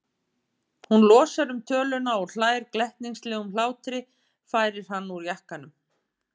Hún losar um töluna og hlær glettnislegum hlátri, færir hann úr jakkanum.